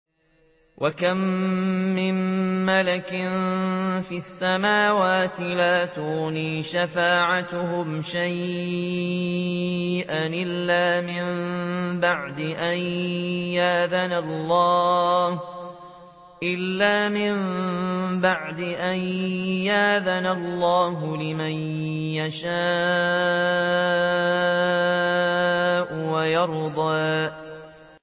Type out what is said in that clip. ۞ وَكَم مِّن مَّلَكٍ فِي السَّمَاوَاتِ لَا تُغْنِي شَفَاعَتُهُمْ شَيْئًا إِلَّا مِن بَعْدِ أَن يَأْذَنَ اللَّهُ لِمَن يَشَاءُ وَيَرْضَىٰ